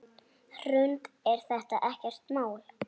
Hrund: Er þetta ekkert mál?